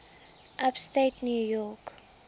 upstate new york